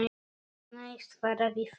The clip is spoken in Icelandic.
Nei svaraði Fúsi.